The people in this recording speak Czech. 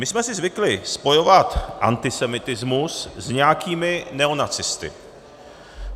My jsme si zvykli spojovat antisemitismus s nějakými neonacisty.